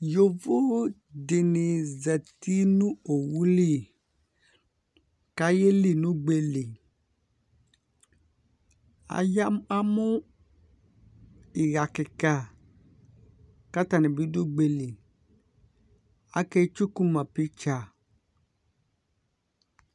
Yovo dɩnɩ zati nʋ owu li kʋ ayeli nʋ ugbe li Aya, amʋ ɩɣa kɩka kʋ atanɩ bɩ dʋ ugbe li Aketsuku ma piktsa